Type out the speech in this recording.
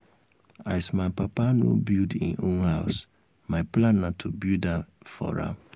as my papa no build im own house my plan na to build am um for am